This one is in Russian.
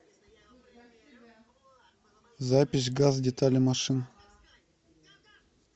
запись газ детали машин